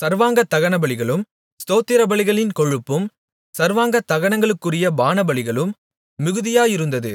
சர்வாங்க தகனபலிகளும் ஸ்தோத்திரபலிகளின் கொழுப்பும் சர்வாங்கதகனங்களுக்குரிய பானபலிகளும் மிகுதியாயிருந்தது